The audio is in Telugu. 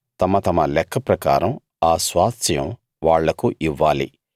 తమ తమ లెక్క ప్రకారం ఆ స్వాస్థ్యం వాళ్లకు ఇవ్వాలి